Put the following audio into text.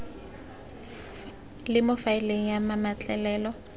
le mo faeleng ya mametlelelo